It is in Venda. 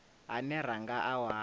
ane ra nga a wana